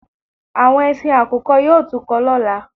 Àwọn ẹsin àkùkọ yóò tún kọ lọ́la